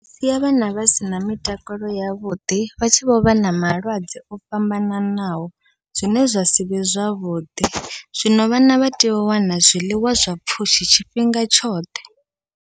Zwi siya vhana vha sina mitakalo yavhuḓi, vha tshi vhovha na malwadze o fhambananaho zwine zwa sivhe zwavhuḓi, zwino vhana vha tea u wana zwiḽiwa zwa pfhushi tshifhinga tshoṱhe.